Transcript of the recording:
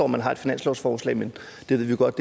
man har et finanslovsforslag men det ved vi jo godt